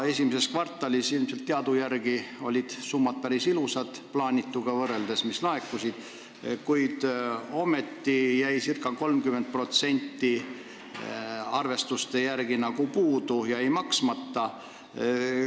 Esimeses kvartalis olid laekunud summad teadujärgi päris ilusad, plaanituga võrreldes, kuid ometi jäi arvestuste järgi ca 30% puudu, see jäi maksmata.